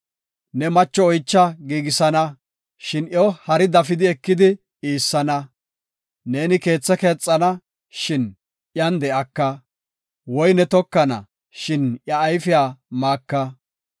Ne macho oycha giigisana, shin iyo hari dafi ekidi iissana. Neeni keethe keexana, shin iyan de7aka. Woyne tokana, shin iya ayfiya maaka.